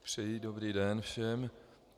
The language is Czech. Přeji dobrý den všem.